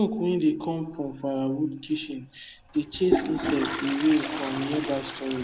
wey dey come from firewood kitchen dey chase insect away from nearby storage